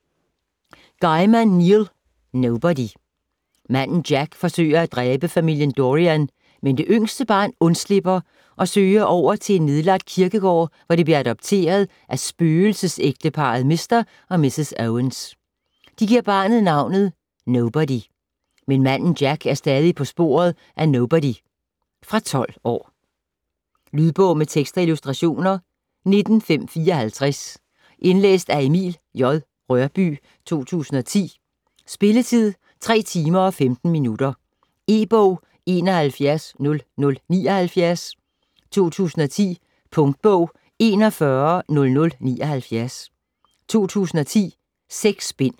Gaiman, Neil: Nobody Manden Jack forsøger at dræbe familien Dorian, men det yngste barn undslipper og søger over til en nedlagt kirkegård, hvor det bliver adopteret af spøgelsesægteparret Mr. og Mrs. Owens. De giver barnet navnet, Nobody. Men Manden Jack er stadig på sporet af Nobody. Fra 12 år. Lydbog med tekst og illustrationer 19554 Indlæst af Emil J. Rørbye, 2010. Spilletid: 3 timer, 15 minutter. E-bog 710079 2010. Punktbog 410079 2010. 6 bind.